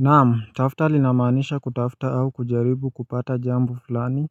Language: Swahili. Naamu tafta linamanisha kutafta au kujaribu kupata jambu fulani